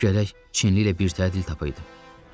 Görək Çinli ilə birtəhər dil tapaq idi.